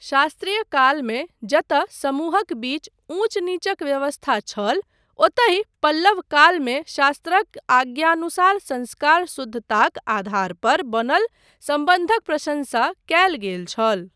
शास्त्रीय कालमे जतय समूहक बीच ऊँच नीचक व्यवस्था छल, ओतहि पल्लव कालमे शास्त्रक आज्ञानुसार संस्कार शुद्धताक आधार पर बनल सम्बन्धक प्रशंसा कयल गेल छल।